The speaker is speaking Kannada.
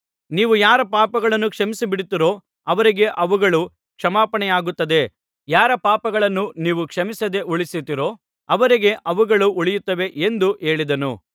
ನೀವು ಯಾರ ಪಾಪಗಳನ್ನು ಕ್ಷಮಿಸಿಬಿಡುತ್ತೀರೋ ಅವರಿಗೆ ಅವುಗಳು ಕ್ಷಮಾಪಣೆಯಾಗುತ್ತದೆ ಯಾರ ಪಾಪಗಳನ್ನು ನೀವು ಕ್ಷಮಿಸದೇ ಉಳಿಸುತ್ತೀರೋ ಅವರಿಗೆ ಅವುಗಳು ಉಳಿಯುತ್ತವೆ ಎಂದು ಹೇಳಿದನು